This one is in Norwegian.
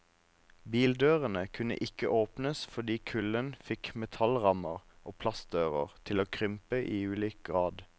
Bildørene kunne ikke åpnes fordi kulden fikk metallrammer og plastdører til å krympe i ulik grad.